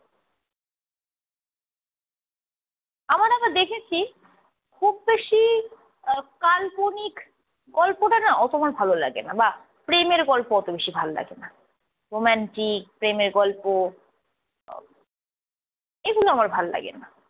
আমার না আবার দেখেছি খুব বেশি আহ কাল্পনিক গল্পটা না অত আমার ভাল লাগে না বা প্রেমের গল্প অত বেশি ভাল লাগে না। রোমান্টিক প্রেমের গল্প এগুলো আমার ভাল্লাগে না।